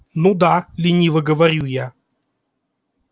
ну да лениво говорю я